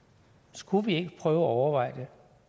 skulle vi ikke prøve at overveje når